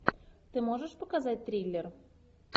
ты можешь показать триллер